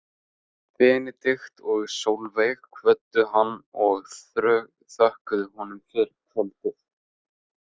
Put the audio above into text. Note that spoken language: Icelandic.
Benedikt og Sólveig kvöddu hann og þökkuðu honum fyrir kvöldið.